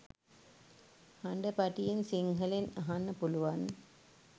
හඩ පටියෙන් සිංහලෙන් අහන්න පුළුවන්